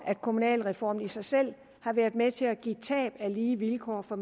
at kommunalreformen i sig selv har været med til at give tab i lige vilkår for